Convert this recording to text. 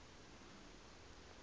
bhasha